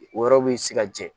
O yɔrɔ bɛ se ka jɛ